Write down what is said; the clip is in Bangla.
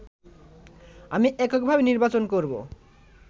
আমি এককভাবে নির্বাচন করবো